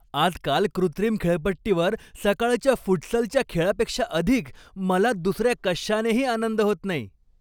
आजकाल कृत्रिम खेळपट्टीवर सकाळच्या फुटसलच्या खेळापेक्षा अधिक मला दुसऱ्या कशानेही आनंद होत नाही.